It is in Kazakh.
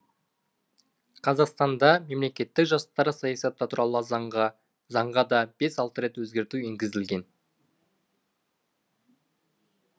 қазақстанда мемлекеттік жастар саясаты туралы заңға да бес алты рет өзгерту енгізілген